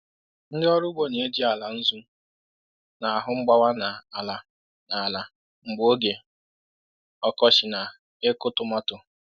Ndị ọrụ ugbo na-eji ala nzu na-ahụ mgbawa n’ala n’ala mgbe oge ọkọchị na ịkụ tọmatọ.